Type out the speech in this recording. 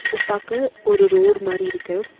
இது பாக்க ஒரு ரோடு மாரி இருக்கு.